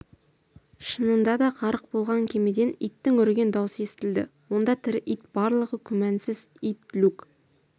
шынында да ғарық болған кемеден иттің үрген даусы естілді онда тірі ит барлығы күмәнсіз ит люк